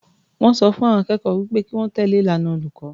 Wọ́n sọ fún àwọn akẹ́kọ̀ọ́ pé kí wọ́n tẹ̀lé ìlànà olùkọ́.